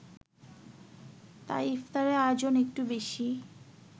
তাই ইফতারের আয়োজন একটু বেশি